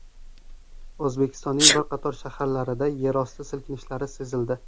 O‘zbekistonning bir qator shaharlarida yerosti silkinishlari sezildi.